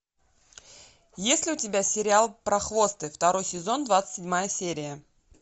есть ли у тебя сериал прохвосты второй сезон двадцать седьмая серия